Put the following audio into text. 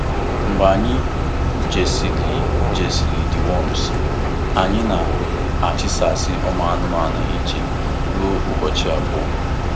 Mgbe anyị jisịrị jisịrị deworms, anyị na-achisasi ụmanụmanu iche ruo ụbọchị abụọ.